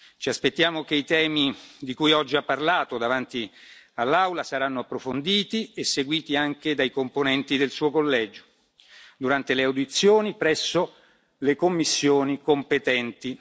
Ci aspettiamo che i temi di cui oggi ha parlato davanti all'Aula saranno approfonditi e seguiti anche dai componenti del Suo collegio durante le audizioni presso le commissioni competenti.